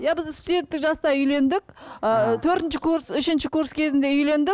иә біз студенттік жаста үйлендік ы төртінші курс үшінші курс кезінде үйлендік